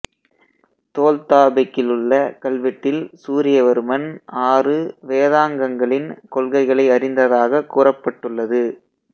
தோல் தாபெக்கிலுள்ள கல்வெட்டில் சூரியவர்மன் ஆறு வேதாங்கங்களின் கொள்கைகளை அறிந்ததாகக் கூறப்பட்டுள்ளது